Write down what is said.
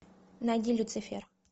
найди люцифер